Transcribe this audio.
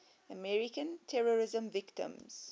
american terrorism victims